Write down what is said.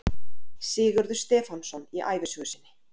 Sigurður Stefánsson í ævisögu sinni